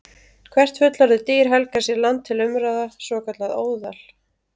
Hvert fullorðið dýr helgar sér land til umráða, svokallað óðal.